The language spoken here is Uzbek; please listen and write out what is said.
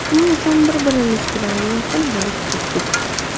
Shuning uchun bir-birimiz bilan yaqin bo‘lib ketdik.